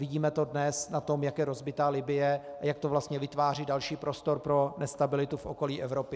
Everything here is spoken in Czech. Vidíme to dnes na tom, jak je rozbitá Libye a jak to vlastně vytváří další prostor pro nestabilitu v okolí Evropy.